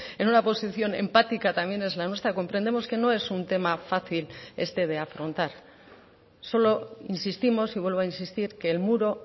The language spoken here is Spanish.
en una posición empática también es la nuestra comprendemos que no es un tema fácil este de afrontar solo insistimos y vuelvo a insistir que el muro